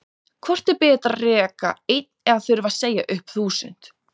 Hvort er betra að reka einn eða þurfa að segja upp þúsund?